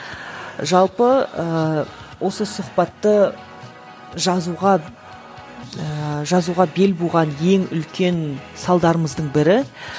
жалпы ыыы осы сұхбатты жазуға ыыы жазуға бел буған ең үлкен салдарымыздың бірі